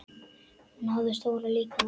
Hún hafði stóran líkama.